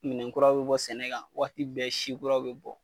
Minɛnkuraw bi bɔ sɛnɛ kan waati bɛɛ sikuraw bi bɔ